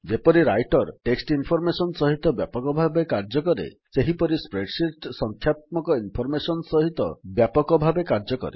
ଯେପରି writer text information ସହିତ ବ୍ୟାପକ ଭାବେ କାର୍ଯ୍ୟ କରେ ସେହିପରି ସ୍ପ୍ରେଡଶିଟ୍ ସଂଖ୍ୟାତ୍ମକ ଇନଫର୍ମେଶନ୍ ସହିତ ବ୍ୟାପକ ଭାବେ କାର୍ଯ୍ୟ କରେ